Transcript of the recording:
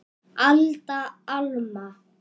Alda, Alma.